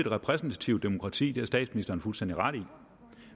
repræsentativt demokrati det har statsministeren fuldstændig ret i